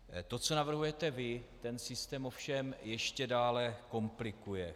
To, co navrhujete vy, ten systém ovšem ještě dále komplikuje.